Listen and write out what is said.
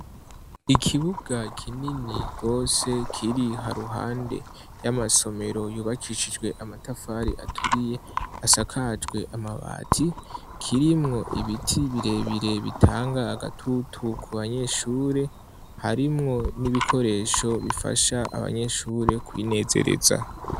Ikibuga kinini gose kiri haruhande y'amasomero yubakishijwe amatafari aturiye asakajwe amabati, kirimwo ibiti birebire bitanga agatutu ku banyeshure, harimwo n'ibikoresho bifasha abanyeshure kwinezereza.